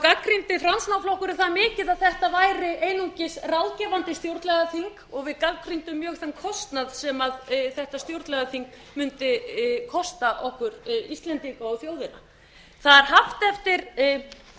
gagnrýndi framsóknarflokkurinn það mikið að þetta væri einungis ráðgefandi stjórnlagaþing og við gagnrýndum mjög þann kostnað sem þetta stjórnlagaþing mundi kosta okkur íslendinga og þjóðina það er haft eftir framkvæmdastjóra